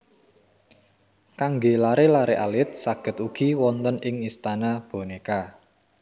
Kanggé laré laré alit saged ugi wonten ing Istana Bonéka